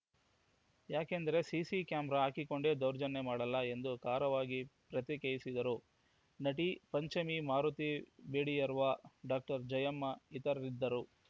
ಯಾಕೆಂದರೆ CC camera ಹಾಕಿಕೊಂಡೇ ದೌರ್ಜನ್ಯ ಮಾಡಲ್ಲ ಎಂದು ಖಾರವಾಗಿ ಪ್ರತಿಕ್ರಿಯಿಸಿದರು ನಟಿ ಪಂಚಮಿ ಮಾರುತಿ ಜೇಡಿಯರ್ವ ಡಾಕ್ಟರ್ ಜಯಮ್ಮ ಇತರರಿದ್ದರು